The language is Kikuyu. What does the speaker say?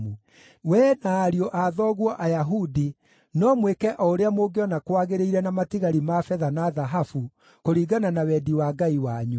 Wee na ariũ a thoguo Ayahudi no mwĩke o ũrĩa mũngĩona kwagĩrĩire na matigari ma betha na thahabu, kũringana na wendi wa Ngai wanyu.